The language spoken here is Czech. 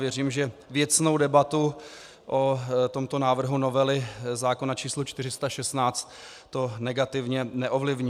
Věřím, že věcnou debatu o tomto návrhu novely zákona č. 416 to negativně neovlivní.